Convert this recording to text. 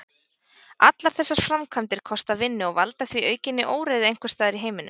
Allar þessar framkvæmdir kosta vinnu og valda því aukinni óreiðu einhvers staðar í heiminum.